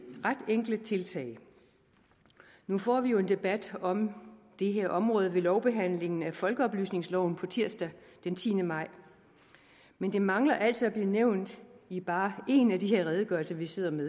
ret enkle tiltag nu får vi jo en debat om det her område ved lovbehandlingen af folkeoplysningsloven tirsdag den tiende maj men det mangler altså at blive nævnt i bare en af de her redegørelser vi sidder med